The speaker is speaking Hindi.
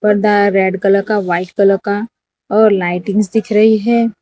पर्दा है रेड कलर का वाइट कलर का और लाइटिंग्स दिख रही है।